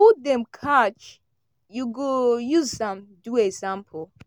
who dem catch you go use am do example.